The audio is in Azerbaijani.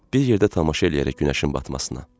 Bir yerdə tamaşa eləyərək günəşin batmasına.